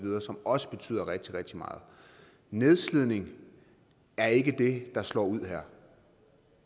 også betyder rigtig rigtig meget nedslidning er ikke det der slår ud her